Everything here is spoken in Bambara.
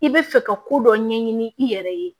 I bɛ fɛ ka ko dɔ ɲɛɲini i yɛrɛ ye